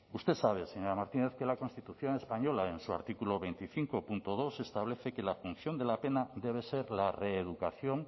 usted sabe señora martínez que la constitución española en su artículo veinticinco punto dos establece que la función de la pena debe ser la reeducación